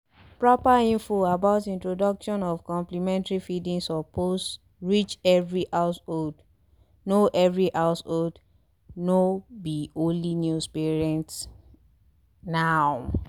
proper info about introduction of complementary feeding suppose reach every householdno every householdno be only new parents naw